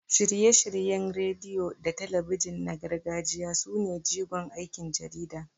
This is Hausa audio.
Shirye-shiryen rediyo da talabijin na gargajiya sune jigon aikin jarida.